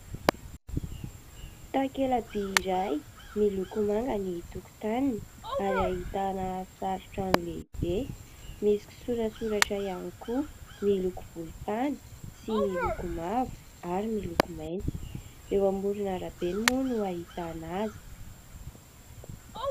Takela-by iray, miloko manga ny tokotaniny ary ahitana sary trano lehibe. Misy kisoratsoratra ihany koa miloko volontany sy miloko mavo ary miloko mainty. Eo amoron'arabe moa no ahitana azy.